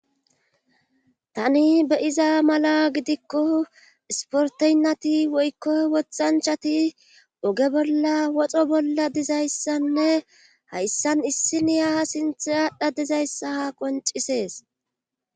Tani be7iza mala gidikko isporteynnati woykko wothanchati oge bolla woxo bolla dizayssanne hayssan issiniya ha sinthe aadha dizayssaha qoncisees.